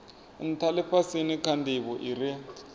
ntha lifhasini kha ndivho ire